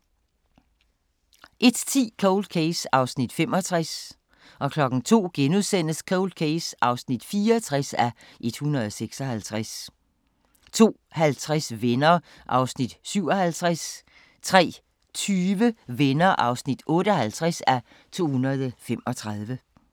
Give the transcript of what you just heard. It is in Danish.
01:10: Cold Case (65:156) 02:00: Cold Case (64:156)* 02:50: Venner (57:235) 03:20: Venner (58:235)